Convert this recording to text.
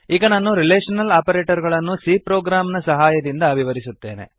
ಈಗ ನಾನು relational operator ಗಳನ್ನು c ಪ್ರೊಗ್ರಾಮ್ ನ ಸಹಾಯದಿಂದ ವಿವರಿಸುತ್ತೇನೆ